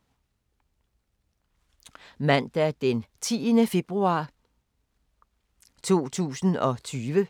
Mandag d. 10. februar 2020